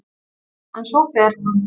En svo fer hún.